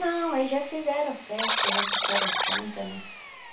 Não, eles já fizeram a festa, já trouxeram a Santa, né?